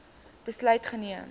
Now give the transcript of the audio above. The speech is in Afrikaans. besluit geneem